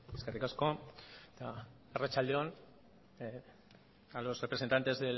eskerrik asko eta arratsalde on a los representantes